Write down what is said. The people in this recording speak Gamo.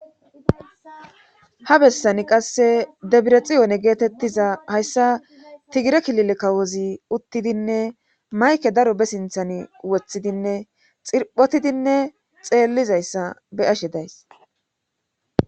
Ha bessani qasse debirexiyoone geetettiza hayssa tigire klile kawozi uttidinne mayke daro be sinthan wothidinne xirphotidinne xeellizayssa be ashe days.